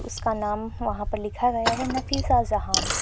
इसका नाम वहां पर लिखा गया है नफीसा जहान।